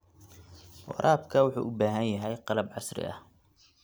Waraabka wuxuu u baahan yahay qalab casri ah.